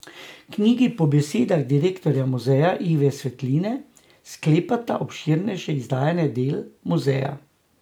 Knjigi po besedah direktorja muzeja Ive Svetine sklepata obširnejše izdajanje del muzeja.